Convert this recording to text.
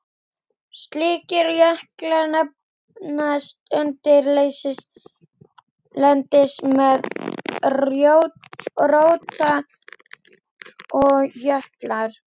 Slíkir jöklar nefnast undirlendis- eða rótarjöklar.